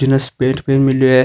जिनने भी मिलयो है।